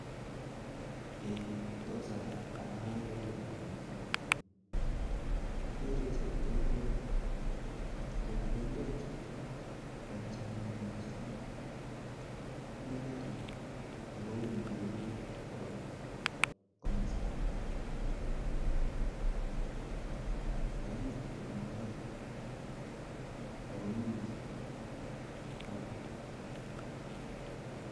Tos arorun komye, akere chepkondok akomii karit ako uni kiibe koba masta age akakikwen eng karit ako mi chi taban